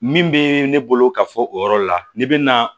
Min bɛ ne bolo ka fɔ o yɔrɔ la ni bɛ na